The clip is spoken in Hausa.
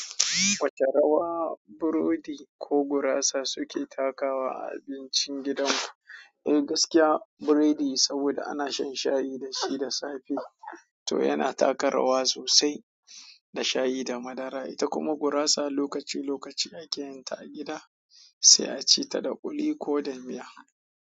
Wace rawa burodi ko gurasa suke takawa a abincin gidan ku? Eh gaskiya buredi saboda ana shan shayi dashi da safe to yana taka rawa sosai da shayi da madara. Ita kuma gurasa lokaci lokaci ake yin ta a gida sai a ci ta da ƙuli ko da miya.